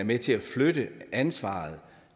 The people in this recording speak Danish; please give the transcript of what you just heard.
med til at flytte ansvaret